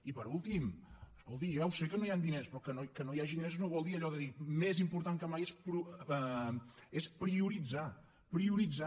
i per últim escolti jo ja ho sé que no hi han diners però que no hi hagi diners no vol dir allò de dir més important que mai és prioritzar prioritzar